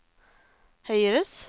høyres